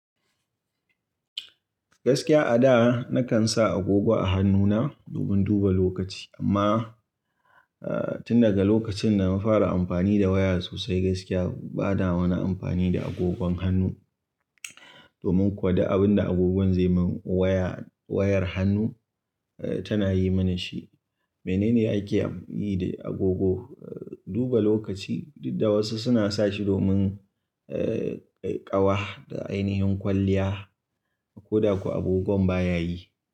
Gaskiya a da, nakan sa agogo a hannuna, domin duba lokaci, amma, eh, tun daga lokacin da na fara amfani da waya sosai gaskiya bana wani amfani da agogon hannu. Domin kuwa du abin da agogon zai mun, waya, wayar hannu, tana yi mini shi. Menene ake yi da agogo? Duba lokaci, dudda wasu suna sa shi domin, eh, ƙawa, da ainihin kwalliya. Ko da kwa agogon baya yi.